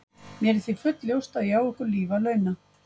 Mér er því fullljóst að ég á ykkur líf að launa.